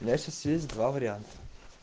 я сейчас есть два варианта